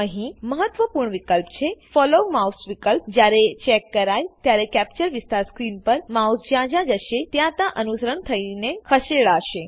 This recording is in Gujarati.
અહી મહત્વપૂર્ણ વિકલ્પ છેFollow માઉસ વિકલ્પજયારે ચેક કરાય ત્યારે કેપ્ચર વિસ્તાર સ્ક્રીન પર માઉસ જ્યાં જ્યાં જશે ત્યાં ત્યાં અનુસરણ થયીને ખસેડાશે